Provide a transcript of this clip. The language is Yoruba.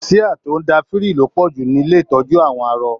Síá tó n da firi lo pọju nílé ìtọjú àwọn arọ.